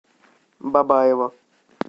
бабаево